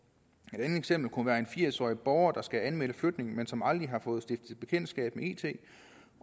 eksempel kunne være en firs årig borger der skal anmelde flytning men som aldrig har fået stiftet bekendtskab med it